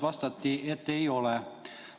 Vastati, et ei ole.